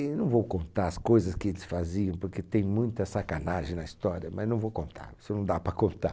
Eu não vou contar as coisas que eles faziam, porque tem muita sacanagem na história, mas não vou contar, isso não dá para contar.